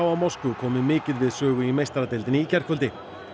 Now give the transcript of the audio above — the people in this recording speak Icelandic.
Moskvu komu mikið við sögu í meistaradeildinni í gærkvöldi